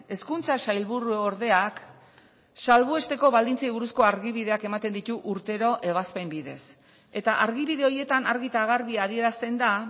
hezkuntza sailburuordeak salbuesteko baldintzei buruzko argibideak ematen ditu urtero ebazpen bidez eta argibide horietan argi eta garbi adierazten da